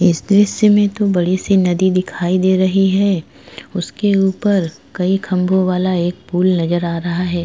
इस दृश्य में तो बड़ी सी नदी दिखाई दे रही है उसके ऊपर कई खंबों वाला एक पुल नजर आ रहा है।